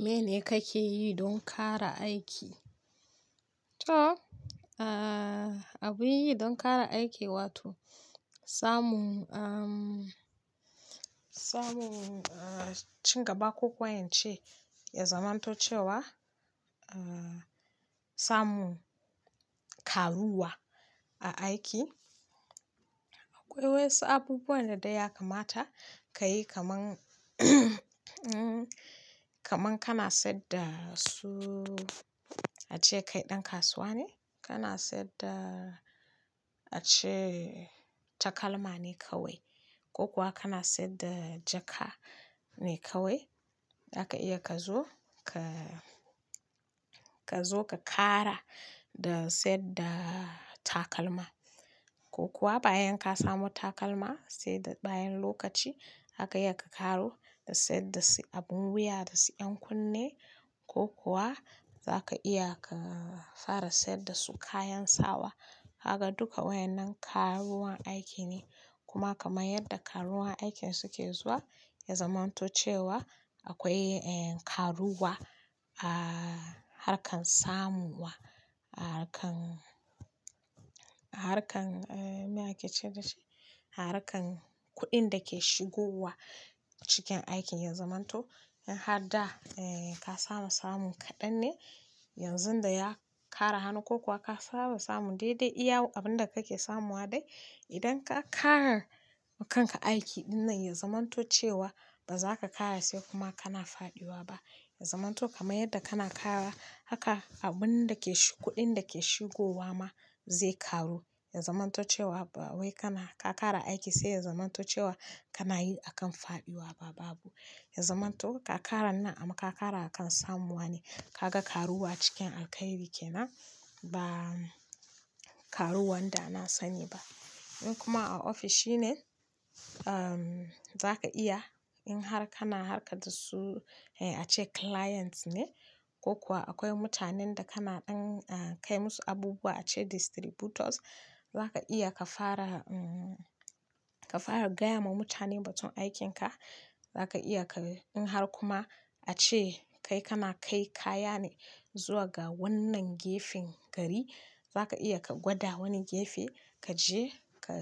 Mene kake yi don ƙara aiki? To, abin yi don ƙara aiki wato samun, samun ci gaba. Ko ko ince ya zamanto cewa samun karuwa a aiki akwai wayansu abubuwan da dai ya kamata ka yi, kaman kaman kana sayar da su, ace kai ɗan kasuwa ne, kana sayar da ace takalma ne kawai ko kuwa kana sayar da jaka ne kawai. Zaka iya ka zo ka, ka zo ka ƙara da sayar da takalma ko kuwa bayan ka samo takalma sai bayan lokaci zaka iya ka ƙaro da sayar da su abin wuya da su 'yan kunne ko kuwa zaka iya ka fara sayar da su kayan sawa. Kaga dukka wayannan karuwar aiki ne. Kuma kaman yadda karuwar aikin suke zuwa ya zamanto cewa akwai karuwa a harkan samu wa, a harkan, a harkan, me ake ce dashi? A harkan kuɗin da ke shigowa cikin aikin ya zamanto in har da ka samu samun kaɗan ne yanzu da ya ƙara hannu ko kuwa ka samu samun daidai iya abin da kake samu wa dai idan ka ƙara wa kanka aiki ɗinnan ya zamanto cewa ba za ka ƙara sai kuma kana faɗiwa ba. Ya zamanto kamar yadda kana ƙara haka abun da ke-- kuɗin da ke shigowa ma zai ƙaru. Ya zamanto cewa ba wai kana-- ka ƙara aiki sai ya zamanto cewa kana yi akan faɗiwa ba babu. Ya zamanto ka ƙara nan amma ka ƙara akan samuwa ne. Ka ga karuwa cikin alkhairi kenan ba karuwan da na sani ba. In kuma a ofishi ne, za ka iya in har kana harka da su ace clients ne ko kuwa akwai mutanen da kana ɗan kai musu abubuwa ace distributors. Zaka iya ka fara, ka fara gaya ma mutane batun aikin ka. Zaka iya ka in har kuma ace kai kana kai kaya ne zuwa ga wannan gefen gari, za ka iya ka gwada wani gefe ka je ka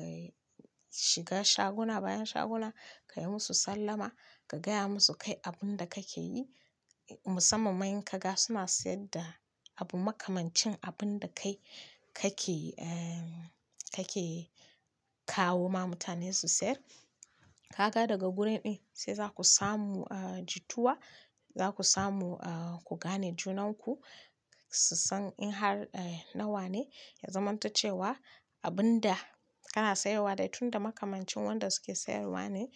shiga shaguna bayan shaguna ka yi musu sallama ka gaya musu kai abin da kake yi. Musamman ma in ka ga suna sayar da abu makamancin abun da kai kake, kake kawo ma mutane su sayar. Ka ga daga gurin din sai za ku samu jituwa, za ku samu ku gane junanku su san in har nawa ne ya zamanto cewa abun da kana sayarwa dai tunda makamancin wanda suke sayarwa ne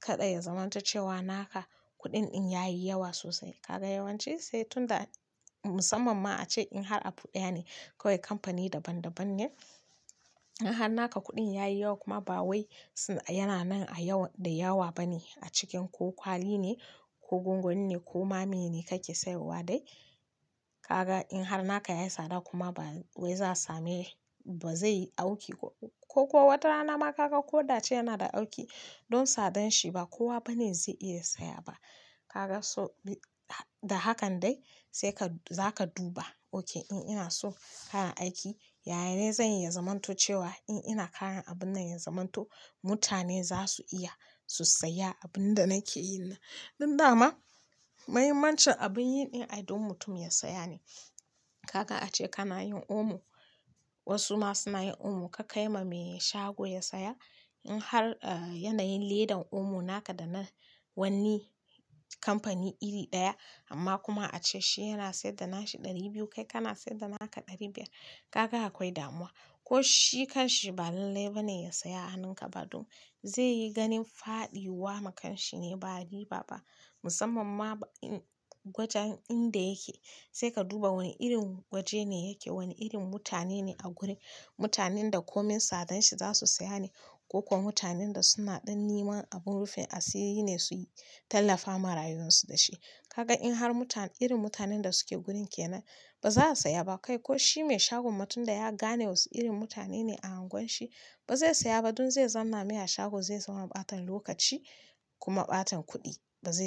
kada ya zamanto cewa naka kuɗin din yayi yawa sosai. Ka ga yawanci sai tunda musamman ma ace in har abu daya ne kawai kamfani daban daban ne. In har naka kuɗin ya yi yawa kuma ba wai yana nan a yawa da yawa bane a cikin ko kwali ne ko gwangwani ne ko ma meyene kake sayarwa dai. Ka ga in har naka yayi tsada kuma ba wai za'a sami, ba zai auki ko kuwa watarana ma ka ga ko da ace yana da auki don tsadanshi ba kowa bane zai iya saya ba. Ka ga so da hakan dai sai ka, za ka duba. Ok in ina so ƙara aiki, yaya ne zai yi ya zamanto cewa in ina ƙara abun nan ya zamanto mutane za su iya su saya abin da nake yi nan. Don dama mahimmancin abin yi ɗin ai don mutum ya saya ne. Ka ga ace kana yin omo, wasu ma suna yin omo ka kai ma mai shago ya saya. In har yanayin ledan omo naka da na wani kamfani iri ɗaya amma kuma ace shi yana sayar da nashi ɗari biyu kai kana sayar da naka ɗari biyar. Ka ga akwai damuwa, ko shi kanshi balan lallai ba ne ya saya hannun ka ba don zai yi ganin faɗiwa ma kanshi ne ba riba ba. Musamman ma in wajen inda yake sai ka duba wani irin waje ne yake, wane irin mutane ne a gurin. Mutanen da komin tsadanshi za su saya ne ko kuwa mutanen da suna ɗan niman abin rufin asiri ne su yi tallafa ma rayuwarsu da shi. Ka ga in har irin mutanen da suke gurin kenan ba za su saya ba kai ko shi mai shagon ma tun da ya gane wasu irin mutane ne a angwan shi ba zai saya ba don zai zanna mai a shago zai samu ɓatan lokaci kuma ɓatan kuɗi ba zai.